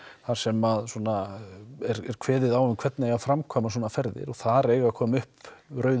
þar sem að er kveðið á um hvernig eiga að framkvæma svona ferðir þar eiga að koma upp